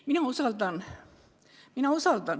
Mina usaldan arste.